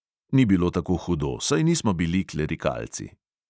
Ni bilo tako hudo, saj nismo bili klerikalci.